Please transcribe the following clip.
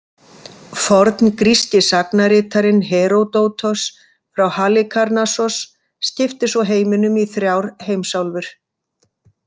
Forngríski sagnaritarinn Heródótos frá Halikarnassos skipti svo heiminum í þrjár heimsálfur.